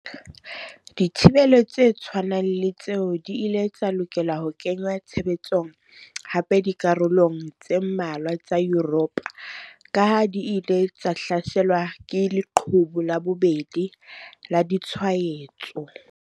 Dithibelo tse tshwanang le tseo di ile tsa lokela ho kenngwa tshebetsong hape dikarolong tse mmalwa tsa Yuropa kaha di ile tsa hlaselwa ke 'leqhubu la bobedi' la ditshwaetso.